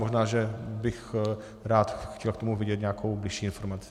Možná že bych rád chtěl k tomu vědět nějakou bližší informaci.